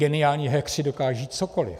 Geniální hackeři dokážou cokoliv.